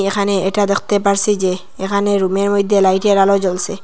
এখানে এটা দেখতে পারসি যে এখানে রুমের মইদ্যে লাইটের আলো জ্বলসে ।